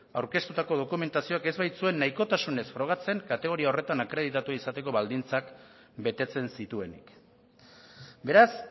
aurkeztutako dokumentazioak ez baitzuen nahikotasunez frogatzen kategoria horretan akreditatua izateko baldintzak betetzen zituenik beraz